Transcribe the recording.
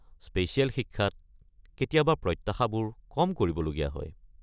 Special শিক্ষাত কেতিয়াবা প্ৰত্যাশাবোৰ কম কৰিবলগীয়া হয়।